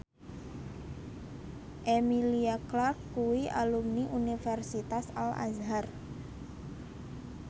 Emilia Clarke kuwi alumni Universitas Al Azhar